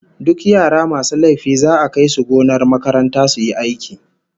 Duk yara masu laifi za'a kai su gonar makaranta su yi aiki